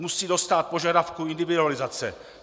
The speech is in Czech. Musí dostát požadavku individualizace.